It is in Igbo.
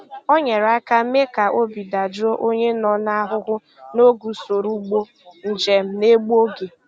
O nyere aka mee ka obi dajụọ onye nọ n'ahụhụ n'oge usoro ụgbọ njem na-egbu oge.